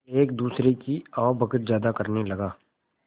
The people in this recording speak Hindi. एक दूसरे की आवभगत ज्यादा करने लगा